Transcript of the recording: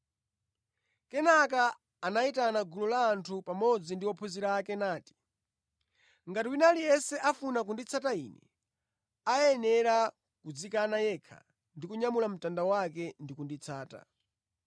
Kenaka anayitana gulu la anthu pamodzi ndi ophunzira ake nati: “Ngati wina aliyense afuna kunditsata Ine, ayenera kudzikana yekha ndi kunyamula mtanda wake ndi kunditsata.